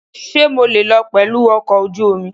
Ṣé mo lè lọ pẹ̀lú ọkọ̀ ojú omi?